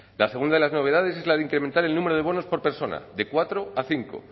la segunda de las novedades es la de incrementar el número de bonos por persona de cuatro a cinco